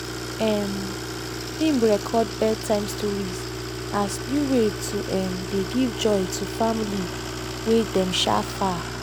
um im record bed time stories as new way to um dey give joy to family wey dey um far.